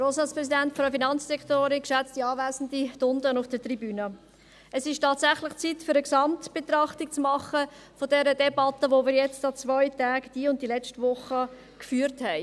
Es ist tatsächlich an der Zeit, eine Gesamtbetrachtung zu machen zu dieser Debatte, welche wir an zwei Tagen, diese und die letzte Woche, geführt haben.